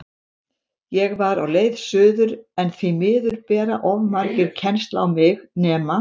Ég var á leið suður, en því miður bera of margir kennsl á mig, nema